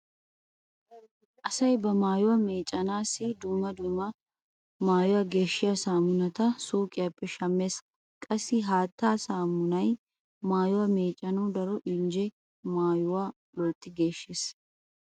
Asay ba maayuwa meeccanaassi dumma dumma maayuwa geeshshiya saamunata suuqiyappe shammees. Qassi haatta saamunay maayuwa meeccanawu daro injjenne maayuwa loytti geeshshees.